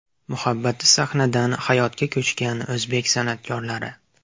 Muhabbati sahnadan hayotga ko‘chgan o‘zbek san’atkorlari .